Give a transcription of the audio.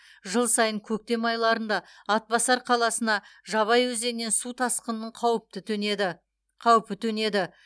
жыл сайын көктем айларында атбасар қаласына жабай өзенінен су тасқынының қаупі төнеді